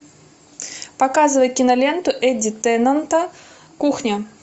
показывай киноленту эдди теннанта кухня